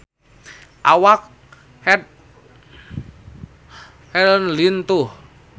Awak Heath Ledger lintuh